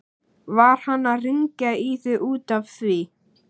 Var hann að hringja í þig út af því?